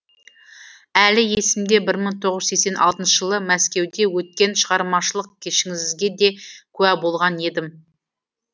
әлі есімде бір мың тоғыз жүз сексен алтыншы жылы мәскеуде өткен шығармашылық кешіңізге де куә болған едім